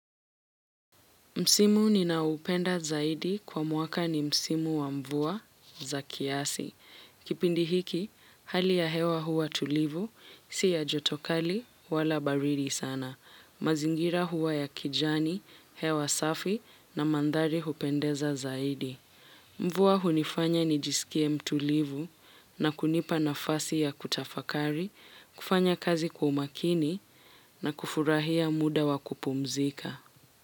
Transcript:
Msimu ninaoupenda zaidi kwa mwaka ni Msimu wa mvua za kiasi. Kipindi hiki, hali ya hewa huwa tulivu, siya joto kali, wala baridi sana. Mazingira hua ya kijani, hewa safi na mandhari hupendeza zaidi. Mvua hunifanya nijisikie mtulivu na kunipa nafasi ya kutafakari, kufanya kazi kwa umakini na kufurahia muda wa kupumzika.